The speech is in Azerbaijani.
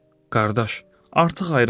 Qardaş, artıq ayrılmalıyıq.